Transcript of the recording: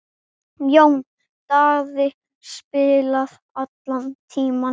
Jón Daði spilaði allan tímann.